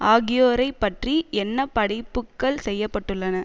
ஆகியோரைப் பற்றி என்ன படைப்புக்கள் செய்ய பட்டுள்ளன